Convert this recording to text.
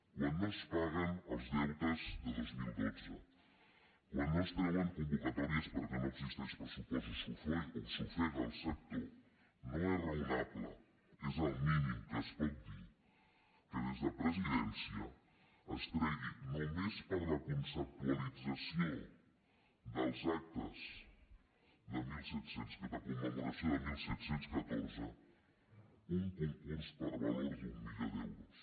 quan no es paguen els deutes de dos mil dotze quan no es treuen convocatòries perquè no existeix pressupost o s’ofega el sector no és raonable és el mínim que es pot dir que des de presidència es tregui només per a la conceptualització dels actes de commemoració de disset deu quatre un concurs per valor d’un milió d’euros